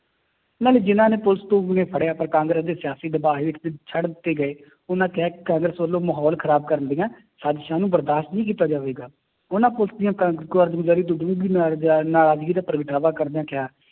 ਨਾਲੇ ਜਿੰਨਾਂ ਨੇ ਫੜਿਆ ਪਰ ਕਾਂਗਰਸ ਦੇ ਸਿਆਸੀ ਦਬਾਅ ਹੇਠ ਦੇ ਛੱਡ ਦਿੱਤੇ ਗਏ ਉਹਨਾਂ ਕਿਹਾ ਕਿ ਕਾਂਗਰਸ ਵੱਲੋਂ ਮਾਹੌਲ ਖ਼ਰਾਬ ਕਰਨ ਦੀਆਂ ਸਾਜ਼ਿਸ਼ਾਂ ਨੂੰ ਬਰਦਾਸ਼ਤ ਨਹੀਂ ਕੀਤਾ ਜਾਵੇਗਾ ਉਹਨਾਂ ਪੁਲਿਸ ਦੀਆਂ ਕਾਰਜਗੁਜ਼ਾਰੀ ਨਰਾਜ਼ਗੀ ਦਾ ਪ੍ਰਗਟਾਵਾ ਕਰਦਿਆਂ ਕਿਹਾ